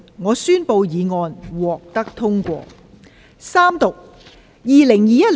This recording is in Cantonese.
我宣布議案獲得通過。